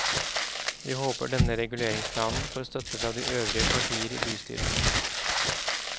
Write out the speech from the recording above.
Vi håper denne reguleringsplanen får støtte fra de øvrige partier i bystyret.